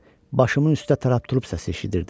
Başımın üstə "tarap-turup" səsi eşidirdim.